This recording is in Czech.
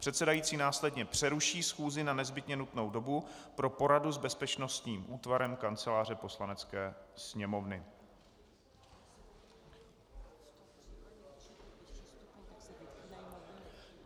Předsedající následně přeruší schůzi na nezbytně nutnou dobu pro poradu s bezpečnostním útvarem Kanceláře Poslanecké sněmovny.